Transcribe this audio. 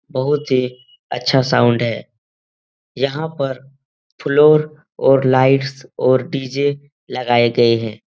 बहुत ही अच्छा साउन्ड है। यहाँ पर फ्लोर और लाइट्स और डी.जे. लगाए गए हैं।